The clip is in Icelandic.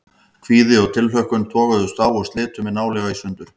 Kvíði og tilhlökkun toguðust á og slitu mig nálega í sundur.